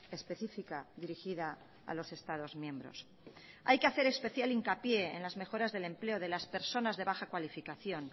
específica dirigida a los estados miembros hay que hacer especial hincapié en las mejoras del empleo de las personas de baja calificación